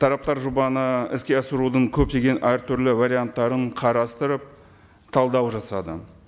тараптар жобаны іске асырудың көптеген әртүрлі варианттарын қарастырып талдау жасады